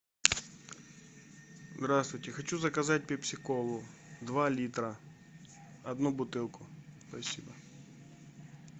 здравствуйте хочу заказать пепси колу два литра одну бутылку спасибо